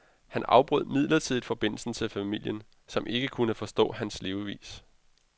Han afbrød midlertidigt forbindelsen til familien, som ikke kunne forstå hans levevis.